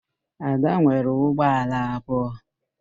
Ada nwere ụgbọala abụọ